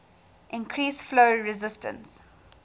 increase flow resistance